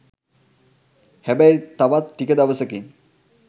හැබැයි තවත් ටික දවසකින්